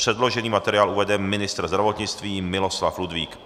Předložený materiál uvede ministr zdravotnictví Miloslav Ludvík.